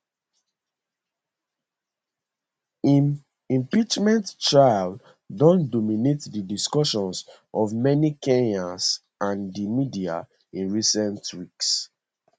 im impeachment trial don dominate di discussions of many kenyans and di media in recent weeks